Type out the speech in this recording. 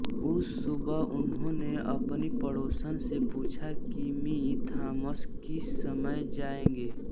उस सुबह उन्होने अपनी पड़ोसन से पूछा की मि थॉमस किस समय जाएंगे